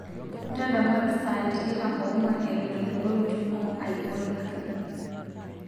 ndadamuaki saai tikitam oo nguan etoon eitu ebaau entumo ai o edgar